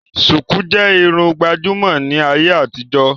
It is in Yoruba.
Sùkú jẹ́ Irun gbàjúmọ̀ ní ayé àtijó